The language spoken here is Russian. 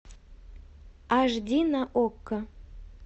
аш ди на окко